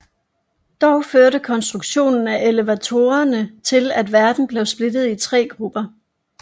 Dog førte konstruktionen af elevatorerne til at verden blev splittet i tre grupper